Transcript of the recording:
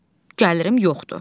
gəlirim yoxdur.